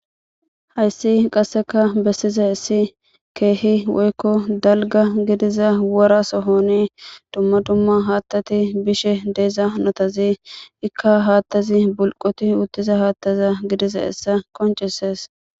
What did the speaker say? Hayssi qasseka besizaysi keehi woykko dalga gidiza wora sohoni dumma dumma haatati bishe de'iza hanotazi ikka haatazi bulqoti uttiza hattaza gidizayssa qoncises.